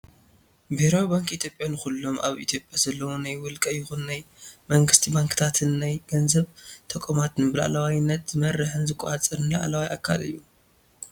ብሄራዊ ባንኪ ኢትዮጵያ ንኩሎም ኣብ ኢትዮጵያ ዘለዉ ናይ ውልቀ ይኹኑ ናይ መንግስቲ ባንክታትን ናይ ገንዘብ ተቋማትን ብላዕለዋይነት ዝመርሕን ዝቆፃፀር ላዕለዋ ኣካል እዩ፡፡